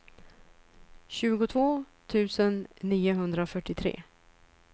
tjugotvå tusen niohundrafyrtiotre